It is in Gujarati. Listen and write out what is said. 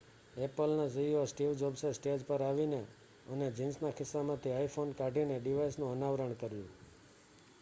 એપલના સીઈઓ સ્ટીવ જોબ્સે સ્ટેજ પર આવીને અને જીન્સના ખિસ્સામાંથી iphone કાઢીને ડિવાઇસનું અનાવરણ કર્યું